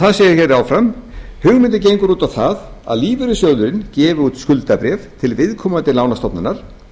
það segir áfram hugmyndin gengur út á það að lífeyrissjóðurinn gefi út skuldabréf til viðkomandi lánastofnunar